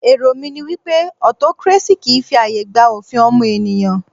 Èrò mí ní wípé autocracy kìí fi ààyè gba òfin ọmọnìyàn.